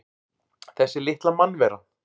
Þessi litla mannvera!